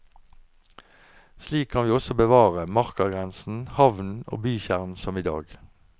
Slik kan vi også bevare markagrensen, havnen og bykjernen som i dag.